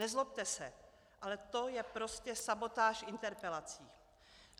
Nezlobte se, ale to je prostě sabotáž interpelací.